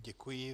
Děkuji.